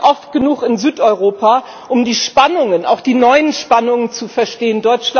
Ich bin oft genug in Südeuropa, um die Spannungen, auch die neuen Spannungen, zu verstehen.